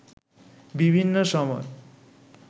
বিভিন্ন সময়